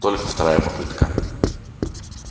только вторая попытка